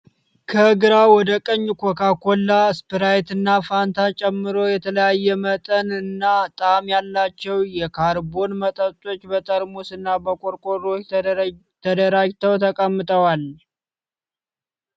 ከግራ ወደ ቀኝ ኮካ ኮላ፣ ስፕራይት እና ፋንታ ጨምሮ የተለያየ መጠን እና ጣዕም ያላቸው የካርቦን መጠጦች በጠርሙስና በቆርቆሮዎች ተደራጅተው ተቀምጠዋል።